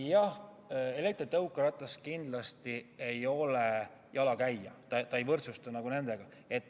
Jah, elektritõukeratas kindlasti ei ole jalakäija, ta ei võrdsustu nendega.